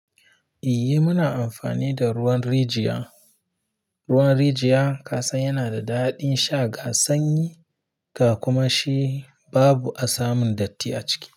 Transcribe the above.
Eh muna amfani da ruwan rijiya. Ruwan rijiya ka san yana da daɗin sha ga sanyi, ga kuma shi babu asamin datti a ciki.